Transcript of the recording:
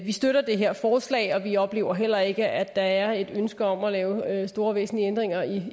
vi støtter det her forslag og vi oplever heller ikke at der er et ønske om at lave store væsentlige ændringer